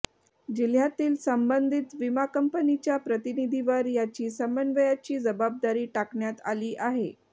जिह्यातील संबंधित विमा कंपनीच्या प्रतिनिधीवर याची समन्वयाची जबाबदारी टाकण्यात आली आहे